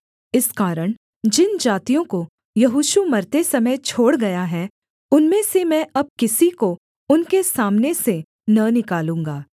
इस कारण जिन जातियों को यहोशू मरते समय छोड़ गया है उनमें से मैं अब किसी को उनके सामने से न निकालूँगा